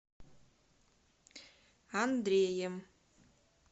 андреем